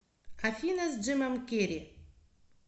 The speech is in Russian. афина с джимом керри